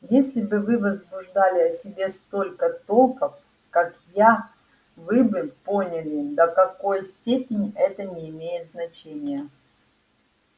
если бы вы возбуждали о себе столько толков как я вы бы поняли до какой степени это не имеет значения